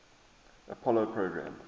apollo program